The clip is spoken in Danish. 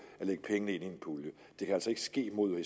at lægge pengene ind i en pulje det kan altså ikke ske mod